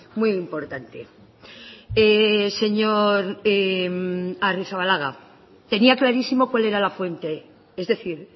muy importante señor agirrezabala tenía clarísimo cuál era la fuente es decir